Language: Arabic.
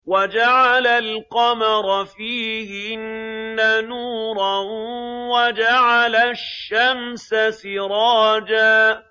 وَجَعَلَ الْقَمَرَ فِيهِنَّ نُورًا وَجَعَلَ الشَّمْسَ سِرَاجًا